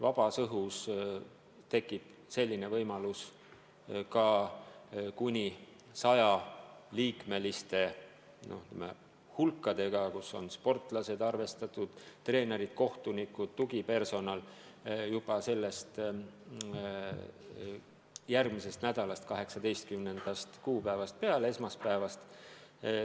Vabas õhus tekib selline võimalus kuni sajaliikmelistele gruppidele, mille hulka on arvestatud sportlased, treenerid, kohtunikud, tugipersonal, juba 18. kuupäevast järgmisel nädalal.